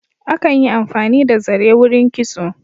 Akan yi amfani da zare wurin kitso.